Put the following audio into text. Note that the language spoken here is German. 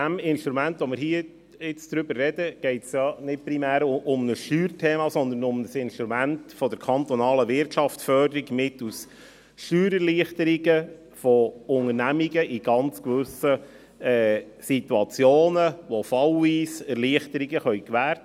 Beim Instrument, über welches wir gerade sprechen, geht es nicht primär um ein Steuerthema, sondern um ein Instrument der kantonalen Wirtschaftsförderung, mittels Steuererleichterung Unternehmungen in gewissen Situation fallweise Erleichterungen zu gewähren.